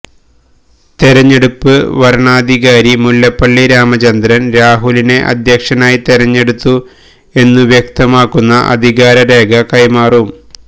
തെരഞ്ഞെടുപ്പ് വരണാധികാരി മുല്ലപ്പള്ളി രാമചന്ദ്രന് രാഹുലിനെ അധ്യക്ഷനായി തെരഞ്ഞെടുത്തു എന്നു വ്യക്തമാക്കുന്ന അധികാര രേഖ കൈമാറും